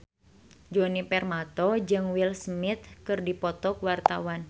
Djoni Permato jeung Will Smith keur dipoto ku wartawan